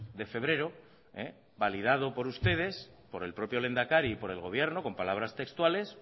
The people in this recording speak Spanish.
de febrero validado por ustedes por el propio lehendakari y por el gobierno con palabras textuales